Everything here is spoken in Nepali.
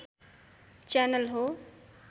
च्यानल हो